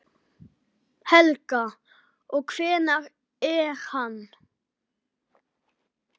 Helga: Og hver er hann?